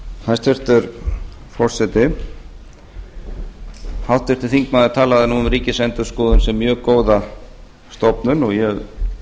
hæstvirtur forseti háttvirtur þingmaður talaði nú um ríkisendurskoðun sem mjög góða stofnun og ég